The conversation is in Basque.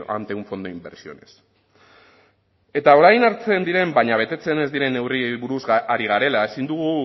ante un fondo de inversiones eta orain hartzen diren baina betetzen ez diren neurriei buruz ari garela ezin dugu